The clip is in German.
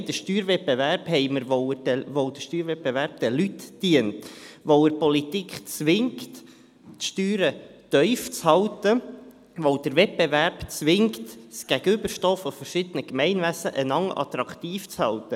Nein, den Steuerwettbewerb haben wir, weil er den Leuten dient, weil er die Politik zwingt, die Steuern tief zu halten, weil der Wettbewerb zwingt, das Gegenüberstehen verschiedener Gemeinwesen gegenseitig attraktiv zu halten.